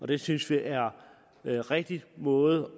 det synes vi er en rigtig måde